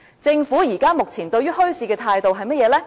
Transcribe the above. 政府現時對墟市的態度是甚麼呢？